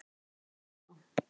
Eins og sjá má á